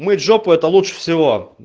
мыть жопу это лучше всего